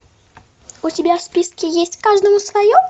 у тебя в списке есть каждому свое